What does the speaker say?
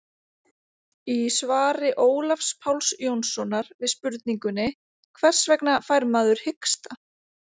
Í svari Ólafs Páls Jónssonar við spurningunni Hvers vegna fær maður hiksta?